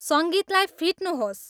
सङ्गीतलाई फिट्नुहोस्